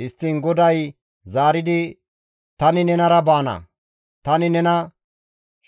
Histtiin GODAY zaaridi, «Tani nenara baana; tani nena